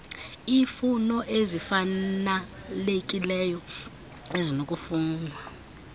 iifuno ezifanalekileyo ezinokufunwa